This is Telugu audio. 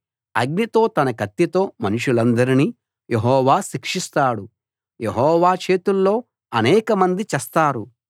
అగ్నితో తన కత్తితో మనుషులందరినీ యెహోవా శిక్షిస్తాడు యెహోవా చేతుల్లో అనేకమంది చస్తారు